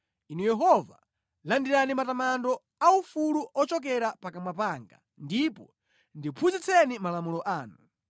Inu Yehova, landirani matamando aufulu ochokera pakamwa panga, ndipo ndiphunzitseni malamulo anu.